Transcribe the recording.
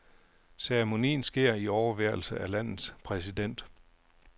Ceremonien sker i overværelse af landets præsident.